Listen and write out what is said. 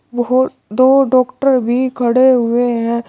बहुत दो डॉक्टर भी खड़े हुए हैं।